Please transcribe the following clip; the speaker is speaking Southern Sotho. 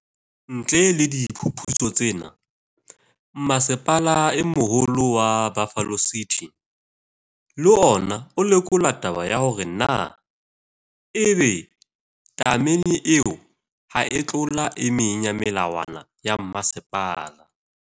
Ntle le diphuputso tsena, Mmasepala e Moholo wa Buffalo City, le ona o lekola taba ya hore na e be tamene eo ha e a tlola e meng ya melawana ya mmasepala.